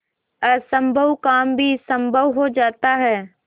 असम्भव काम भी संभव हो जाता है